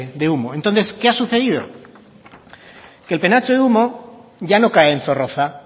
de humo entonces qué ha sucedido que el penacho de humo ya no cae en zorroza